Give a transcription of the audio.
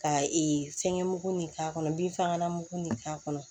Ka fɛnkɛ mugu nin k'a kɔnɔ binfagalan mugu nin k'a kɔnɔ